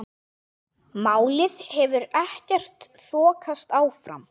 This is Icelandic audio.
Málið hefur ekkert þokast áfram.